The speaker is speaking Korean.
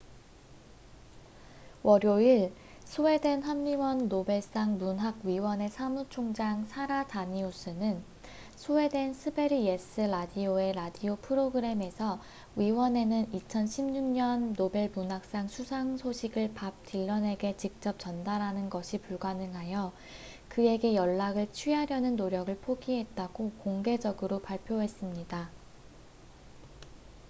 월요일 스웨덴 한림원 노벨상 문학위원회 사무총장 사라 다니우스는 스웨덴 스베리예스 라디오의 라디오 프로그램에서 위원회는 2016년 노벨 문학상 수상 소식을 밥 딜런에게 직접 전달하는 것이 불가능하여 그에게 연락을 취하려는 노력을 포기했다고 공개적으로 발표했습니다